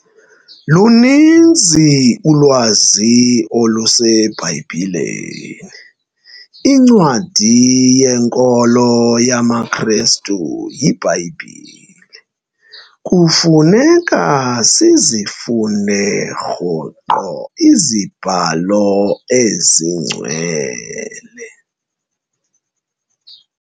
Luninzi ulwazi oluseBhayibhileni. incwadi yenkolo yamaKrestu yiBhayibhile, kufuneka sizifunde rhoqo iziBhalo esingcwele